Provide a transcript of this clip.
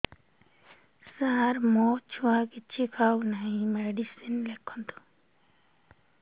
ସାର ମୋ ଛୁଆ କିଛି ଖାଉ ନାହିଁ ମେଡିସିନ ଲେଖନ୍ତୁ